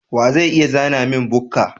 Wa zai iya zana min bukka?